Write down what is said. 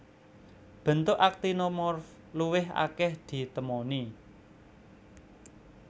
Bentuk aktinomorf luwih akèh ditemoni